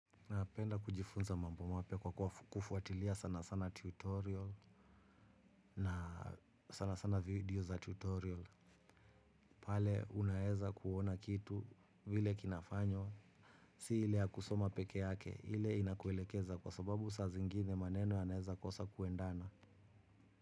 Napenda kujifunza mambo mapya kwa kufuatilia sana sana tutorial na sana sana video za tutorial. Pale unaweza kuona kitu vile kinafanywa. Si ile ya kusoma pekee yake ile inakuelekeza kwa sababu saa zingine maneno yanaweza kukosa kuendana.